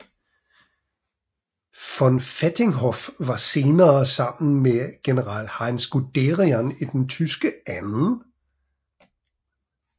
Von Vietinghoff var senere sammen med general Heinz Guderian i den tyske 2